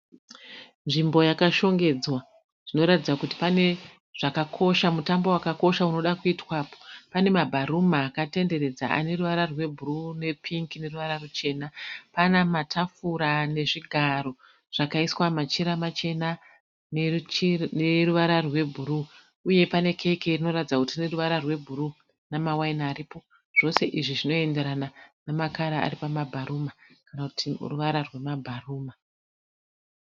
Nzvimbo yakashongedza zvinoratidza kuti pane zvakakosha mutambo wakakosha unoda kuitwapo, pane mabharuma akatenderedza ane ruvara rwebhuruu , nepingi neruvara ruchena , pane matafura nezvigaro zvakaiswa machira machena neruvara rwebhuruu uye pane keke rinoratidza kuti rine ruvara rwebhuruu namawaini aripo zvose izvi zvinoenderana namakara aripamabharuma kana kuti ruvara rwemabharuma.